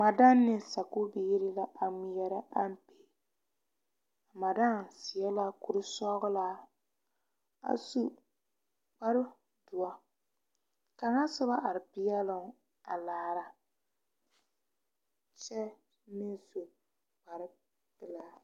Madaam ne sakubiiri la a ŋmeɛrɛ ampe madaam seɛ la kuri sɔglɔ a su kparredoɔ kaŋa soba are peɛloo a a laara kyɛ meŋ su kpare pelaa.